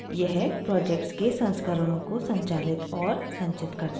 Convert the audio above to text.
यह projects के संस्करणों को संचालित और संचित करता है